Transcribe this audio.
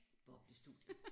Boblestudier